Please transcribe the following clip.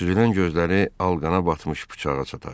Süzülən gözləri alqana batmış bıçağa çataşdı.